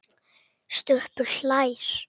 Stubbur hlær.